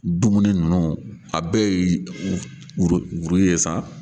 Dumuni ninnu a bɛɛ ye sa